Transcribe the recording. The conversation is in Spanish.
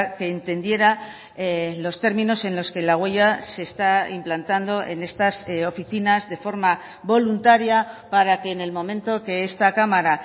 que entendiera los términos en los que la huella se está implantando en estas oficinas de forma voluntaria para que en el momento que esta cámara